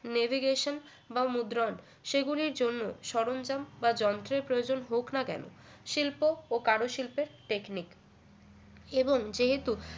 navigation বা মুদ্রণ সে গুলির জন্য সরঞ্জাম বা যন্ত্রের প্রয়োজন হোক না কেন শিল্প ও কারুশিল্পের technic এবং যেহেতু